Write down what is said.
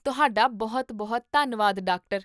ਤੁਹਾਡਾ ਬਹੁਤ ਬਹੁਤ ਧੰਨਵਾਦ, ਡਾਕਟਰ